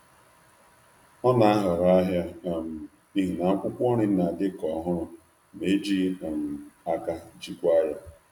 Ọ na-ahọrọ ahịa n’ihi na akwụkwọ nri na-adị ka ọhụrụ ma e jighị aka jikwaa ya.